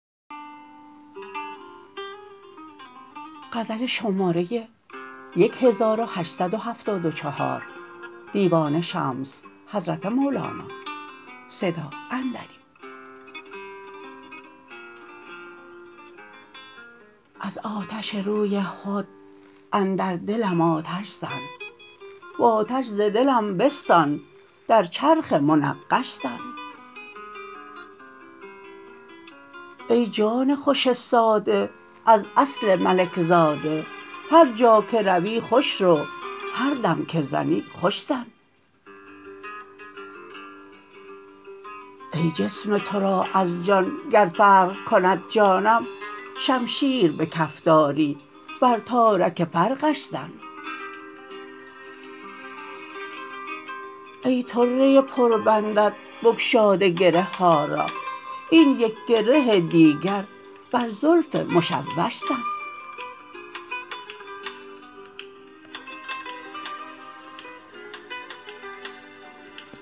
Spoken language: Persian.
از آتش روی خود اندر دلم آتش زن و آتش ز دلم بستان در چرخ منقش زن ای جان خوش ساده از اصل ملک زاده هر جا که روی خوش رو هر دم که زنی خوش زن ای جسم تو را از جان گر فرق کند جانم شمشیر به کف داری بر تارک فرقش زن ای طره پربندت بگشاده گره ها را این یک گره دیگر بر زلف مشوش زن